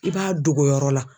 I b'a dogo yɔrɔ la.